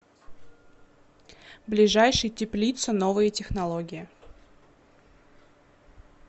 ближайший теплица новые технологии